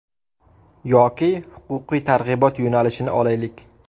Yoki huquqiy targ‘ibot yo‘nalishini olaylik.